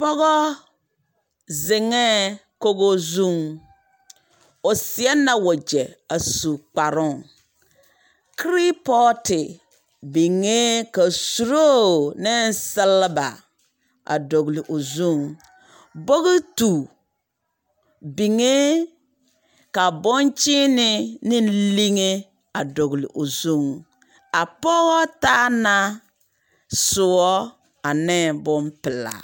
Pɔgɔ, zeŋɛɛ kogo zuŋ. O seɛ na wagyɛ a su kparoŋ. Kerepɔɔte biŋee ka suroo ne seleba a dɔgele o zuŋ. Bogitu, biŋee ka bonkyeene neŋ liŋe a dɔgele o zuŋ. A pɔgɔ taa na, soɔ aneŋ bompelaa.